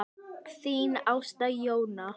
Þín Ásta Jóna.